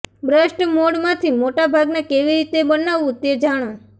બ્રસ્ટ મોડમાંથી મોટા ભાગના કેવી રીતે બનાવવું તે જાણો